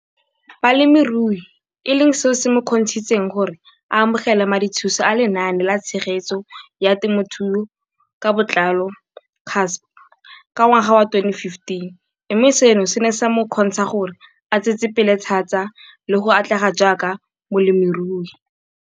Balemirui e leng seo se mo kgontshitseng gore a amogele madithuso a Lenaane la Tshegetso ya Te mothuo ka Botlalo, CASP] ka ngwaga wa 2015, mme seno se ne sa mo kgontsha gore a tsetsepele thata le go atlega jaaka molemirui.